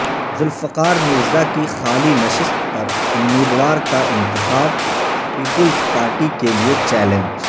ذوالفقار مرزا کی خالی نشست پر امیدوار کا انتخاب پیپلزپارٹی کیلئے چیلنج